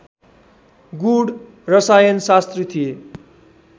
गूढ रसायनशास्त्री थिए